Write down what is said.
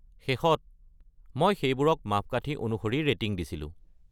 শেষত মই সেইবোৰক মাপকাঠী অনুসৰি ৰেটিং দিছিলোঁ।